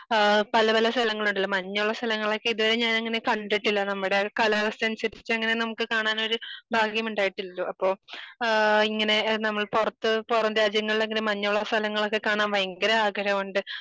ഏഹ് പല പല സ്ഥലങ്ങളുണ്ടല്ലോ ഇപ്പൊ മഞ്ഞുള്ള സ്ഥലങ്ങളൊക്കെ ഇത് വരെ ഞാൻ അങ്ങനെ കണ്ടിട്ടില്ല. നമ്മടെ കലാവസ്ഥ അനുസരിച്ച അങ്ങനെ നമുക്ക് കാണാനൊരു ഭാഗ്യം ഉണ്ടായിട്ടില്ലല്ലോ അപ്പൊ ആഹ് ഇങ്ങനെ നമ്മള് പുറത്ത് പുറം രാജ്യങ്ങളിലൊക്കെ മഞ്ഞുള്ള സ്ഥലങ്ങളൊക്കെ കാണാൻ ഭയങ്കര ആഗ്രഹമുണ്ട്.